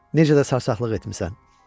Necə də sarsaqlıq etmisən.